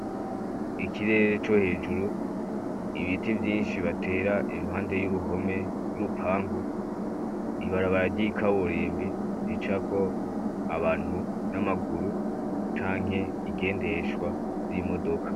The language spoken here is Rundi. Ikirere co hejuru ibiti vyinshi batera iruhande y'uruhome y'urupangu ibarabararyikaburimbi zi cako abantu n'amaguru canke igendeshwa z'imodoka.